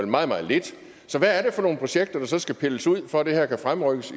meget meget lidt så hvad er det for nogle projekter der skal pilles ud for at det her kan fremrykkes